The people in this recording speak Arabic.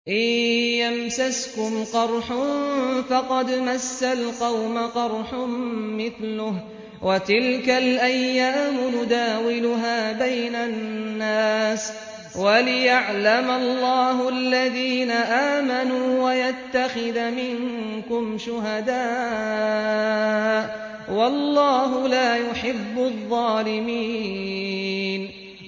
إِن يَمْسَسْكُمْ قَرْحٌ فَقَدْ مَسَّ الْقَوْمَ قَرْحٌ مِّثْلُهُ ۚ وَتِلْكَ الْأَيَّامُ نُدَاوِلُهَا بَيْنَ النَّاسِ وَلِيَعْلَمَ اللَّهُ الَّذِينَ آمَنُوا وَيَتَّخِذَ مِنكُمْ شُهَدَاءَ ۗ وَاللَّهُ لَا يُحِبُّ الظَّالِمِينَ